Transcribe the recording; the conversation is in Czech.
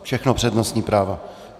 Všechno přednostní práva.